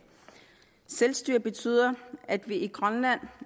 selvstyre betyder at vi i grønland